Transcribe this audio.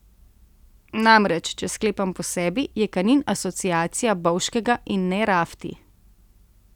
Namreč če sklepam po sebi, je Kanin asociacija Bovškega in ne rafti.